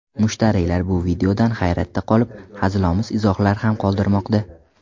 Mushtariylar bu videodan hayratda qolib, hazilomuz izohlar ham qoldirmoqda.